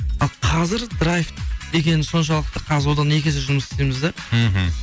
ал қазір драйв деген соншалықты қазір одан да екі есе жұмыс істейміз да мхм